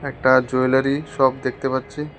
একটা jewellery shop দেখতে পাচ্ছি।